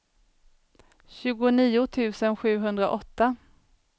tjugonio tusen sjuhundraåtta